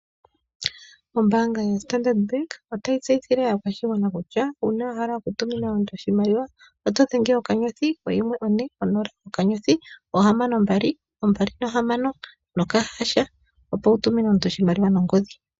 Ombaanga yo-Standard Bank ota yi tseyithile aakwashigwana kutya uuna wahala oku tumina omuntu oshimaliwa oto dhenge okanyothi, oyimwe, one, onola, okanyothi, oohamano mbali, ombali, nokahasha opo wutumine omuntu oshimaliwa nongodhi.